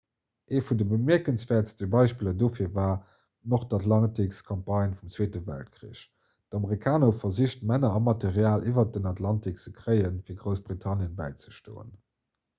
ee vun de bemierkenswäertste beispiller dofir war d'nordatlantikcampagne vum zweete weltkrich d'amerikaner hu versicht männer a material iwwer den atlantik ze kréien fir groussbritannien bäizestoen